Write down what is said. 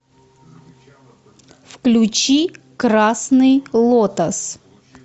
включи красный лотос